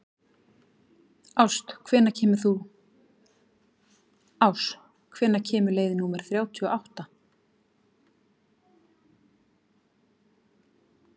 Ás, hvenær kemur leið númer þrjátíu og átta?